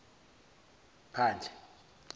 phandle